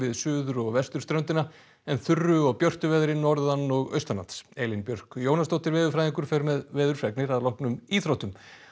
suður og vesturströndina en þurru og björtu veðri norðan og Elín Björk Jónasdóttir veðurfræðingur fer með veðurfregnir að loknum íþróttum